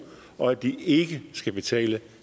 og at de ikke skal betale